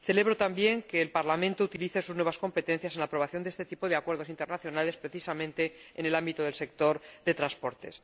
Celebro, también, que el Parlamento utilice sus nuevas competencias en la aprobación de este tipo de acuerdos internacionales, precisamente, en el ámbito del sector de los transportes.